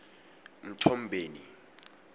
mthombeni